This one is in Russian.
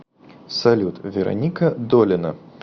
салют вероника долина